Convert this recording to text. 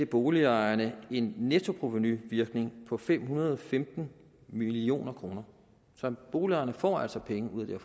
boligejerne en nettoprovenuvirkning på fem hundrede og femten million kroner så boligejerne får altså penge ud af